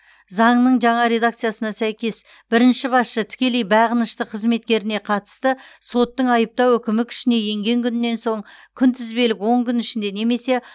заңның жаңа редакциясына сәйкес бірінші басшы тікелей бағынышты қызметкеріне қатысты соттың айыптау үкімі күшіне енген күннен соң күнтізбелік он күн ішінде немесе